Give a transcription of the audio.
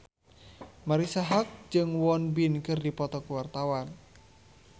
Marisa Haque jeung Won Bin keur dipoto ku wartawan